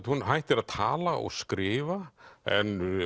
hún hættir að tala og skrifa en